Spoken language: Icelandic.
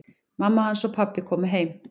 Mamma hans og pabbi komu heim.